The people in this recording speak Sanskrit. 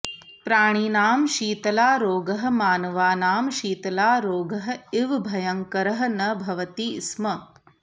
प्राणिनां शीतलारोगः मानवानां शीतलारोगः इव भयङ्करः न भवति स्म